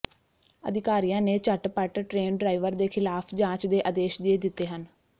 ਅਧਿਕਾਰੀਆਂ ਨੇ ਝੱਟਪੱਟ ਟ੍ਰੇਨ ਡਰਾਈਵਰ ਦੇ ਖਿਲਾਫ ਜਾਂਚ ਦੇ ਆਦੇਸ਼ ਦੇ ਦਿੱਤੇ ਹਨ